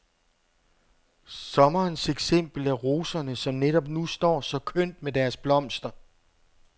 Sommerens eksempel er roserne, som netop nu står så kønt med deres blomster.